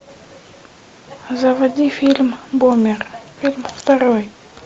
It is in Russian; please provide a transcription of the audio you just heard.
заводи фильм бумер фильм второй